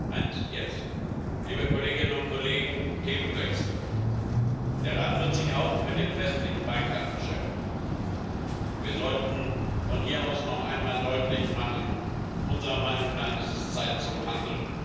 Frau Präsidentin, liebe Kolleginnen und Kollegen! Themenwechsel Der Rat wird sich auch mit dem westlichen Balkan beschäftigen, und wir sollten von hier aus noch einmal deutlich machen Unserer Meinung nach ist es Zeit zum Handeln.